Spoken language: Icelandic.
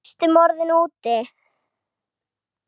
Næstum orðinn úti